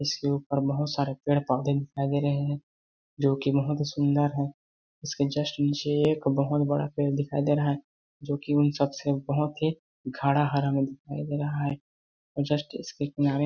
इसके ऊपर बहोत सारे पेड़ -पौधे दिखाई दे रहे है जोकि बहोत ही सुन्दर है इसके जस्ट नीचें एक बहोत बड़ा पेड़ दिखाई दे रहा है जोकि उन सब से बहोत ही गाढा हरा में दिखाई रहा है और जस्ट इसके किनारे--